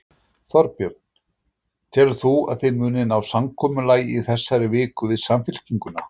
Þorbjörn: Telur þú að þið munið ná samkomulagi í þessari viku, við Samfylkinguna?